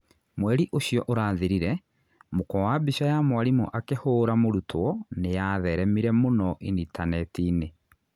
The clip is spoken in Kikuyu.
Mweri ũcio ũrathirire, mũkwa wa mbica ya mwarimũ akĩhũũra mũrutwo nĩ nĩyatheremire mũno initaneti-inĩ